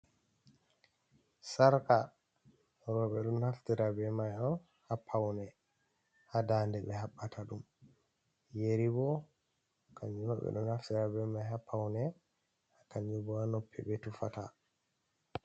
Sarka, rowɓe ɗo naftira bee may on ha pawne, ha daande ɓe haɓɓata ɗum. Yeri boo kannjuma ɓe ɗo naftira bee may ha pawne, kannjum bo ha noppi ɓe tufata.